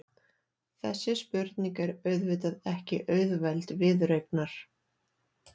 Þessi spurning er auðvitað ekki auðveld viðureignar.